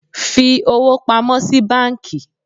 fi owo pamo si banki!